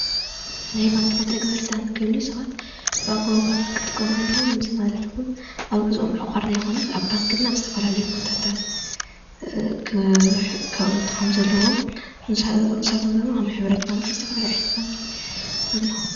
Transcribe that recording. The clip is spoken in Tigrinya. ናይ ባንኪ መተግበርታት ክህሉ ሰባት ብኣገባቡ ባንክ ክጥቀሙ ኣለዎም እዚ ማለት ኣብ ግዝኦም ምዕቋር ዘይኮነስ ኣብ ባንክን ኣብ ዝተፈላለዩ ቦታታት ከቅምጡ ከምዘለዎም ንሳቶምድማ ከም ሕብረት ባንኪ ዝተፈላለየ ዓይነት ባንኪ ኣለው።